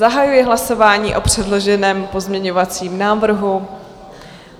Zahajuji hlasování o předloženém pozměňovacím návrhu.